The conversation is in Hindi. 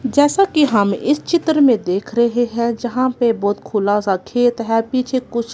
जैसा कि हम इस चित्र में देख रहे हैं जहां पे बहुत खुला सा खेत है पीछे कुछ--